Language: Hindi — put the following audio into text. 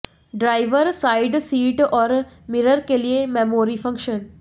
ड्राइवर साइड सीट और मिरर के लिए मैमोरी फंक्शन